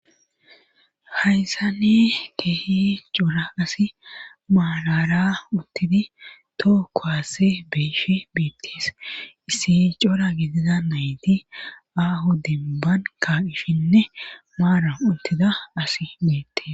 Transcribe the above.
Hayssane keehi cora asi maalara uttidi too kohase beeshi biittes issi cora gidida nayti aahu dinban ka ishshinne maara uttida asi biitte.